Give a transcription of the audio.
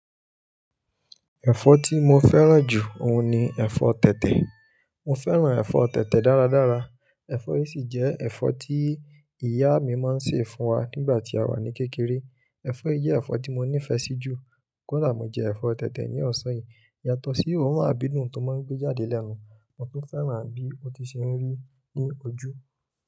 Ẹ̀fọ́ tí mo fẹ́ràn jù òun ni ẹ̀fọ́ tẹ̀tẹ̀. Mo fẹ́ràn ẹ̀fọ́ tẹ̀tẹ̀ dáradára. Ẹ̀fọ́ yìí sì jẹ́ ẹ̀fọ́ tí ìyá mi máa ń sè fún wa nígbà tí a wà ní kékeré. Ẹ̀fọ́ yìí jẹ́ ẹ̀fọ́ tí mo nífẹ̀ẹ́ sí jù. Kò dà mo jẹ ẹ̀fọ́ tẹ̀tẹ̀ ní ọ̀sán yìí. Yàtọ̀ sí òórùn àdídun tó máa ń gbé jáde lẹ́nu. Mo tún fẹ́ràn bí ó tun ṣe ń rí ní ojú.